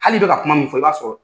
Hali i bɛ ka kuma min fɔ i b'a sɔrɔ